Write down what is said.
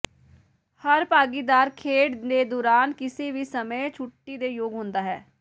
ਹਰ ਭਾਗੀਦਾਰ ਖੇਡ ਦੇ ਦੌਰਾਨ ਕਿਸੇ ਵੀ ਸਮੇਂ ਛੁੱਟੀ ਦੇ ਯੋਗ ਹੁੰਦਾ ਹੈ